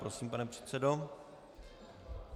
Prosím, pane předsedo.